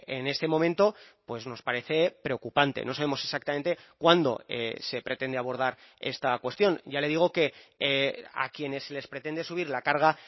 en este momento pues nos parece preocupante no sabemos exactamente cuándo se pretende abordar esta cuestión ya le digo que a quienes se les pretende subir la carga